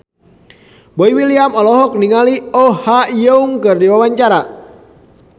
Boy William olohok ningali Oh Ha Young keur diwawancara